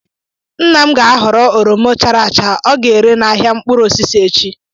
Nna m ga-ahọrọ oroma chara acha, ọ ga-ere n'ahịa mkpụrụ osisi echi.